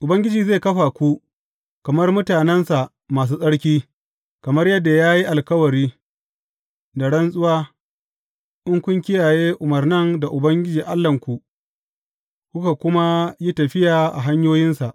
Ubangiji zai kafa ku kamar mutanensa masu tsarki, kamar yadda ya yi alkawari da rantsuwa, in kun kiyaye umarnan Ubangiji Allahnku, kuka kuma yi tafiya a hanyoyinsa.